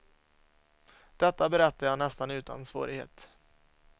Detta berättar jag nästan utan svårighet.